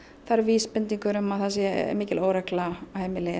það eru vísbendingar um að það sé mikil óregla á heimili